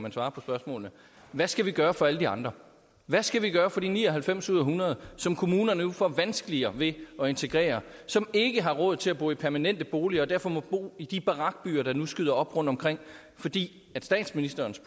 at svare på spørgsmålet hvad skal vi gøre for alle de andre hvad skal vi gøre for de ni og halvfems ud af hundrede som kommunerne nu får vanskeligere ved at integrere som ikke har råd til at bo i permanente boliger og derfor må bo i de barakbyer der nu skyder op rundtomkring fordi statsministerens